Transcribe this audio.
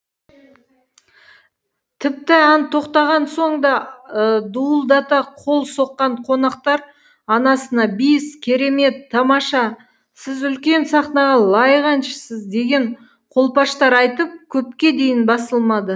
тіпті ән тоқтаған соң да дуылдата қол соққан қонақтар анасына бис керемет тамаша сіз үлкен сахнаға лайық әншісіз деген қолпаштар айтып көпке дейін басылмады